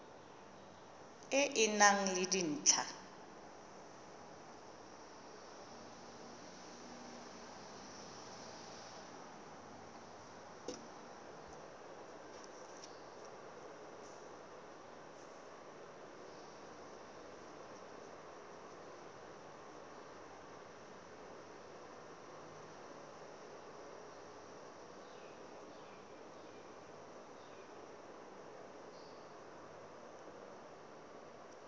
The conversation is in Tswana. e e nang le dintlha